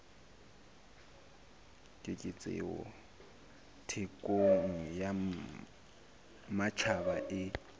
keketseho thekong ya matjhaba e